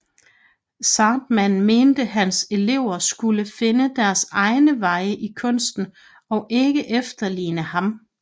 Zahrtmann mente hans elever skulle finde deres egne veje i kunsten og ikke efterligne ham